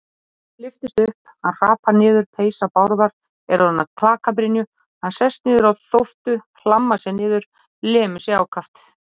Báturinn lyftist upp, hann hrapar niður, peysa Bárðar er orðin að klakabrynju, hann sest niður á þóftu, hlammar sér niður, lemur sig ákaft.